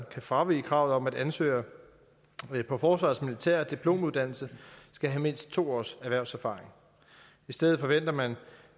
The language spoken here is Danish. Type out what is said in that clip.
kan fravige kravet om at ansøgere på forsvarets militære diplomuddannelse skal have mindst to års erhvervserfaring i stedet forventer man